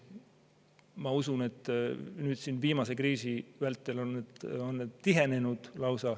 Ma usun, et nüüd, viimase kriisi vältel on need lausa tihenenud.